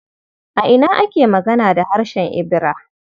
A ina ake magana da harshen Ibira?